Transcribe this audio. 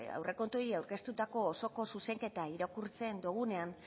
aurrekontuei aurkeztutako osoko zuzenketa irakurtzen dugunean